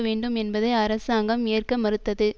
வேண்டும் என்பதை அரசாங்கம் ஏற்க மறுத்தது